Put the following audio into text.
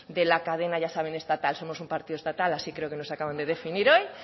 de la cadena ya saben estatal somos un partido estatal así creo que nos acaban de definir hoy